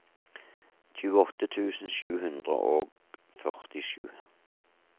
tjueåtte tusen sju hundre og førtisju